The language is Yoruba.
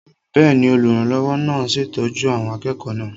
Bẹ́ẹ̀ni, olùrànlọ́wọ́ náà ń ṣètọ́jú àwọn akẹ́kọ̀ọ́ náà